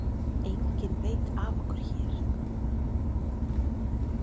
Enginn veit af okkur hér.